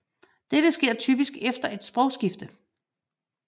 Dette sker typisk efter et sprogskifte